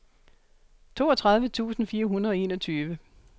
toogtredive tusind fire hundrede og enogtyve